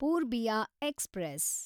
Purbiya express